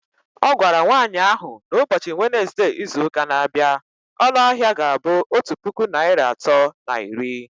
Ọ gwara nwanyị ahụ na ụbọchị Wenezde izuụka na-abịa, ọnụ ahịa ga-abụ otu puku naịra atọ na iri